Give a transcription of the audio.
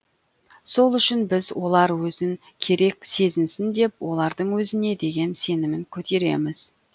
сол үшін біз олар өзін керек сезінсін деп олардың өзіне деген сенімін көтереміз